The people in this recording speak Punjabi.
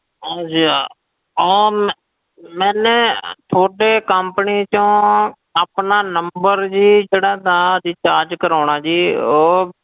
ਹਾਂਜੀ ਹਾਂ ਉਹ ਮੈਂ ਮੈਨੇ ਤੁਹਾਡੇ company ਚੋਂ ਆਪਣਾ number ਜੀ ਜਿਹੜਾ ਸੀ recharge ਕਰਵਾਉਣਾ ਜੀ ਉਹ,